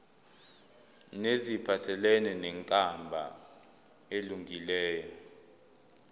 neziphathelene nenkambo elungileyo